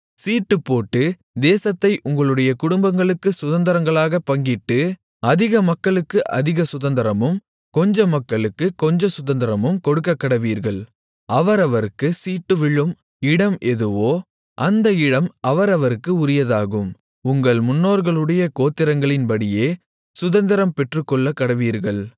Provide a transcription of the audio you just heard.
சீட்டுப்போட்டு தேசத்தை உங்களுடைய குடும்பங்களுக்குச் சுதந்தரங்களாகப் பங்கிட்டு அதிக மக்களுக்கு அதிக சுதந்தரமும் கொஞ்ச மக்களுக்குக் கொஞ்ச சுதந்தரமும் கொடுக்கக்கடவீர்கள் அவரவர்க்குச் சீட்டு விழும் இடம் எதுவோ அந்த இடம் அவரவர்க்கு உரியதாகும் உங்கள் முன்னோர்களுடைய கோத்திரங்களின்படியே சுதந்தரம் பெற்றுக்கொள்ளக்கடவீர்கள்